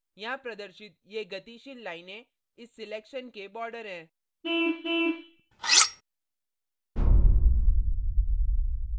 यहाँ प्रदर्शित ये गतिशील लाइनें इस selection के border हैं